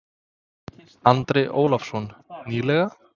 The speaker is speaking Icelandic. Andri Ólafsson: Nýleg?